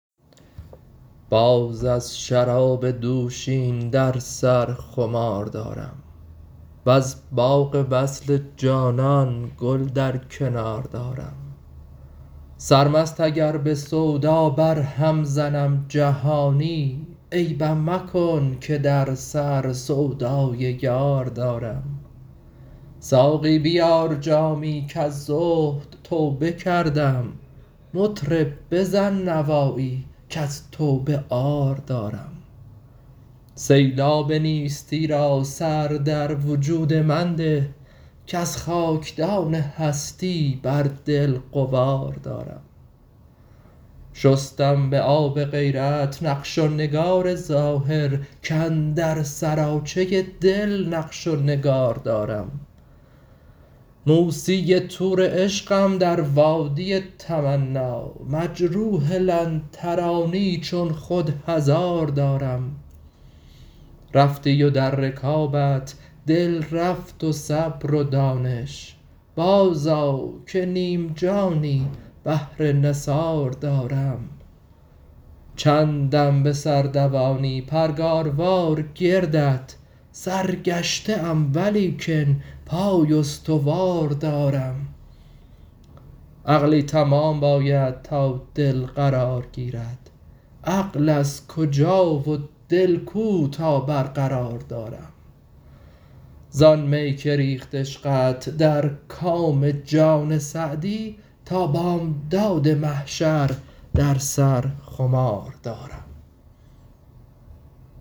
باز از شراب دوشین در سر خمار دارم وز باغ وصل جانان گل در کنار دارم سرمست اگر به سودا برهم زنم جهانی عیبم مکن که در سر سودای یار دارم ساقی بیار جامی کز زهد توبه کردم مطرب بزن نوایی کز توبه عار دارم سیلاب نیستی را سر در وجود من ده کز خاکدان هستی بر دل غبار دارم شستم به آب غیرت نقش و نگار ظاهر کاندر سراچه دل نقش و نگار دارم موسی طور عشقم در وادی تمنا مجروح لن ترانی چون خود هزار دارم رفتی و در رکابت دل رفت و صبر و دانش بازآ که نیم جانی بهر نثار دارم چندم به سر دوانی پرگاروار گردت سرگشته ام ولیکن پای استوار دارم عقلی تمام باید تا دل قرار گیرد عقل از کجا و دل کو تا برقرار دارم زآن می که ریخت عشقت در کام جان سعدی تا بامداد محشر در سر خمار دارم